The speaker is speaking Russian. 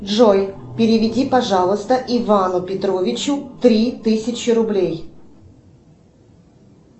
джой переведи пожалуйста ивану петровичу три тысячи рублей